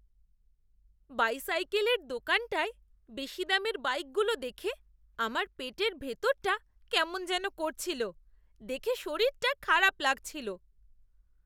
বাইসাইকেলের দোকানটায় বেশি দামের বাইকগুলো দেখে আমার পেটের ভেতরটা কেমন যেন করছিল। দেখে শরীরটা খারাপ লাগছিল।